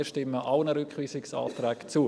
Wir stimmen allen Rückweisungsanträgen zu.